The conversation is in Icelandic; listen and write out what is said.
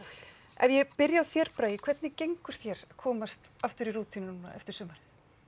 ef ég byrja á þér Bragi hvernig gengur þér komast í rútínu eftir sumarið